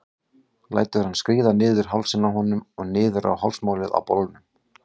Lætur hann skríða niður hálsinn á honum og niður á hálsmálið á bolnum.